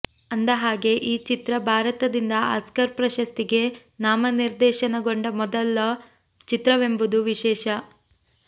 ಅಂದ ಹಾಗೇ ಈ ಚಿತ್ರ ಭಾರತದಿಂದ ಆಸ್ಕರ್ ಪ್ರಶಸ್ತಿಗೆ ನಾಮನಿರ್ದೇಶನಗೊಂಡ ಮೊದಲ ಚಿತ್ರವೆಂಬುದು ವಿಶೇಷ